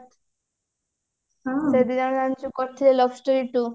ସେ ଦି ଜଣ ମିଶି କରିଥିଲେ love story two